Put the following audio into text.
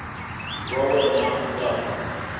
wa wena u ta ku